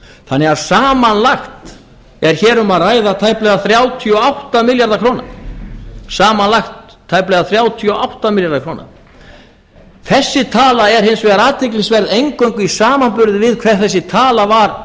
þannig að samanlagt er hér um að ræða tæplega þrjátíu og átta milljarða króna þessi tala er hins vegar athyglisverð eingöngu í samanburði við hver þessi tala var